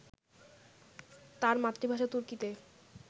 তাঁর মাতৃভাষা তুর্কিতে